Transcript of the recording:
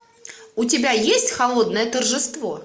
у тебя есть холодное торжество